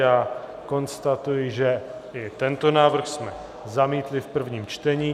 Já konstatuji, že i tento návrh jsme zamítli v prvním čtení.